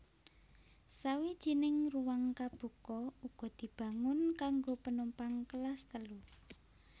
Sawijining ruwang kabuka uga dibangun kanggo penumpang Kelas Telu